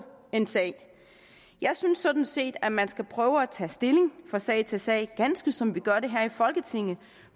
en sag jeg synes sådan set at man skal prøve at tage stilling fra sag til sag ganske som vi gør det her i folketinget